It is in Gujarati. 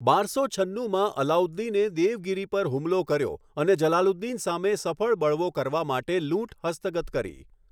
બારસો છન્નુમાં, અલાઉદ્દીને દેવગિરી પર હુમલો કર્યો, અને જલાલુદ્દીન સામે સફળ બળવો કરવા માટે લૂંટ હસ્તગત કરી.